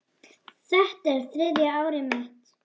Þetta er þriðja árið mitt.